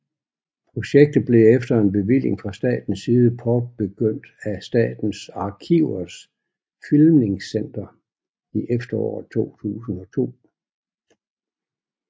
Projektet blev efter en bevilling fra statens side påbegyndt af Statens Arkivers Filmningscenter i efteråret 2002